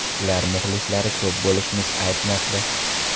Ular muxlislar ko‘p bo‘lishi aytmoqda.